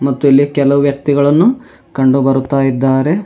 ಮತ್ತು ಇಲ್ಲಿ ಕೆಲವು ವ್ಯಕ್ತಿಗಳನ್ನು ಕಂಡುಬರುತಾಇದ್ದಾರೆ.